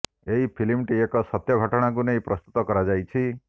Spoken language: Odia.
ଏହି ଫିଲ୍ମଟି ଏକ ସତ୍ୟ ଘଟଣାକୁ ନେଇ ପ୍ରସ୍ତୁତ କରାଯାଇଛି